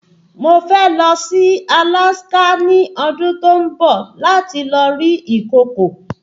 Mo fẹ́ lọ sí Alaska ní ọdún tó ń bọ̀ láti lọ rí ìkokò